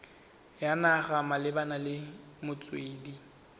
ya naga malebana le metswedi